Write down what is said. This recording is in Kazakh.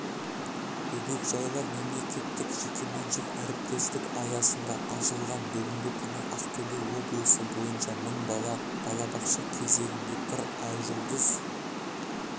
бөбекжайлар мемлекеттік-жекеменшік әріптестік аясында ашылған бүгінгі күні ақтөбе облысы бойынша мың бала балабақша кезегінде тұр айжұлдыз